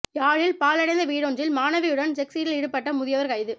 யாழில் பாழடைந்த வீடொன்றில் மாணவியுடன் செக்ஸ் இல் ஈடுபட்ட முதியவர் கைது